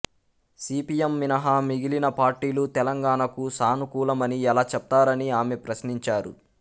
CPM మినహా మిగిలిన పార్టీలు తెలంగాణకు సానుకూలమని ఎలా చెప్తారని ఆమె ప్రశ్నించారు